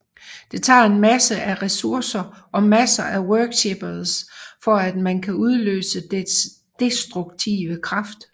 Det tager masser af ressourcer og masser af worshippers for at man kan udløse dets destruktive kraft